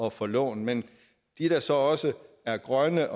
at få lån men de der så også har grønne